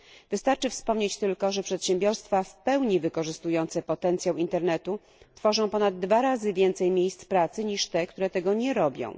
Wystarczy wspomnieć tylko, że przedsiębiorstwa w pełni wykorzystujące potencjał internetu tworzą ponad dwa razy więcej miejsc pracy niż te, które tego nie robią.